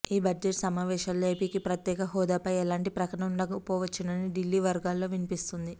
ఈ బడ్జెట్ సమావేశాల్లో ఏపీకి ప్రత్యేక హోదాపై ఎలాంటి ప్రకటన ఉండకపోవచ్చునని ఢిల్లీ వర్గాల్లో వినిపిస్తోంది